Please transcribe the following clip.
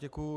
Děkuji.